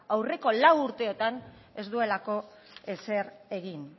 aurreko lau urteotan ez duelako ezer egin